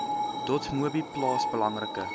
dotmobi plaas belangrike